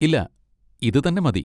ഇല്ല, ഇത് തന്നെ മതി.